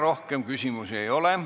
Rohkem küsimusi ei ole.